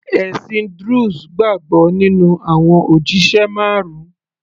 ẹ̀sìn druze gbàgbọ́ nínú àwọn òjíṣẹ marun